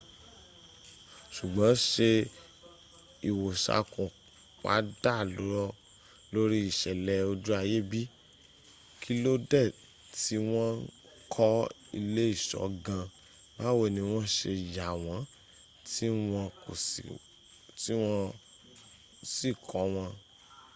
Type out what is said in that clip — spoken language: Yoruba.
ṣùgbọ́n ṣé ìwoṣàkun wa dá lórí ìṣẹ̀lẹ̀ ojú ayé bi? kí ló dé tí wọ́n ń kọ ilé ìṣọ́ gan an? báwo ni wọ́n ṣe yà wọ́n tí wọ́ sì kọ́ wọn?